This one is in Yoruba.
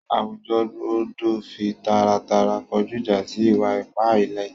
Àwújọ̀ gbọdọ̀ fí tàràtàrà kọjú ìjà̀ sí ìwà-ìpà ìlẹ̀.